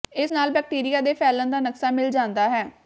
ਇਸ ਨਾਲ ਬੈਕਟੀਰੀਆ ਦੇ ਫੈਲਣ ਦਾ ਨਕਸ਼ਾ ਮਿਲ ਜਾਂਦਾ ਹੈ